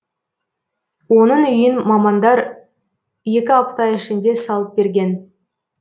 оның үйін мамандар екі апта ішінде салып берген